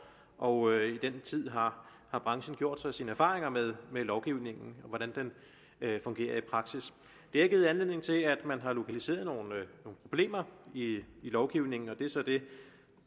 og i den tid har branchen gjort sig sine erfaringer med lovgivningen hvordan den fungerer i praksis det har givet anledning til at man har lokaliseret nogle problemer i i lovgivningen og det er så det